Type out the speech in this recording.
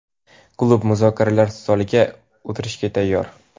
klub muzokaralar stoliga o‘tirishga tayyor.